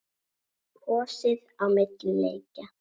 Kosið á milli leikja?